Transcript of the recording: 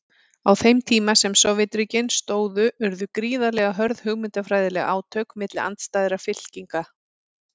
Á þeim tíma sem Sovétríkin stóðu urðu gríðarlega hörð hugmyndafræðileg átök milli andstæðra fylkinga.